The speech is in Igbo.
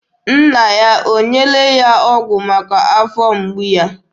Nna ya o nyeela ya ọgụ maka afọ mgbu ya?